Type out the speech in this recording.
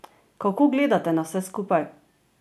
Kako gledate na vse skupaj?